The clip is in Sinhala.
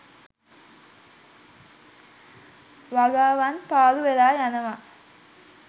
වගාවන් පාලු වෙලා යනවා